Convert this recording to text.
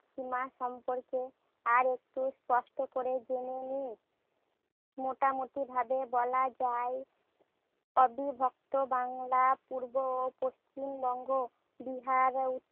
সীমা সম্পর্কে আরেকটু স্পষ্ট করে জেনে নিই। মোটামুটিভাবে বলা যায়, অবিভক্ত বাংলা পূর্ব ও পশ্চিম বঙ্গ, বিহার ও